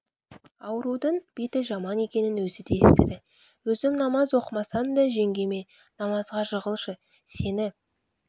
ауруының беті жаман екенін өзі де естіді өзім намаз оқымасам да жеңгеме намазға жығылшы сені